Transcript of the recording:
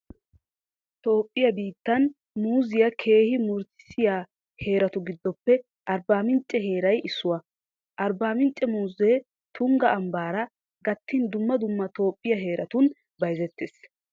Toophphiyaa biittan muuziyaa keehi murutissiyaa heeratu giddoppe Arbbaamincce heeray issuwaa. Arbbaamincce muuzee Tungga ambbaara gattin dumma dumma Toophphiyaa heeratun bayzettees.